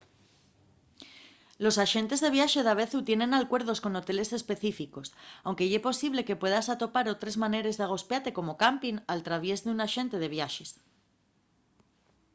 los axentes de viaxe davezu tienen alcuerdos con hoteles específicos anque ye posible que puedas atopar otres maneres d’agospiate como campin al traviés d’un axente de viaxes